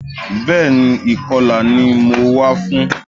Bẹ́ẹ̀ni, ìkọlà ni mo wá fún